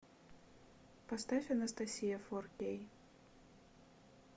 поставь анастасия фор кей